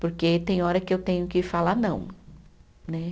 Porque tem hora que eu tenho que falar não, né?